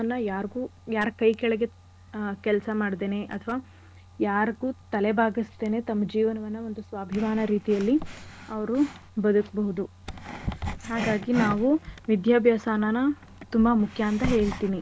ಯಾರ್ಗು ಯಾರ್ ಕೈ ಕೆಳಗೆ ಆ ಕೆಲ್ಸಾ ಮಾಡ್ದೇನೆ ಅಥವಾ ಯಾರ್ಗು ತಲೆ ಬಾಗ್ಸ್ದೇನೆ ತಮ್ ಜೀವನವನ್ನ ಒಂದು ಸ್ವಾಭಿಮಾನ ರೀತಿಯಲ್ಲಿ ಅವ್ರು ಬದ್ಕ್ಬೋದು ಹಾಗಾಗಿ ನಾವು ವಿದ್ಯಾಭ್ಯಾಸನ ತುಂಬಾ ಮುಖ್ಯ ಅಂತ ಹೇಳ್ತಿನಿ.